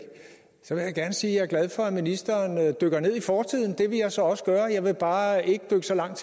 så vil jeg gerne sige at jeg for at ministeren dykker ned i fortiden det vil jeg så også gøre jeg vil bare ikke dykke langt